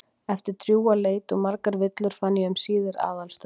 Eftir drjúga leit og margar villur fann ég um síðir aðalstöðvar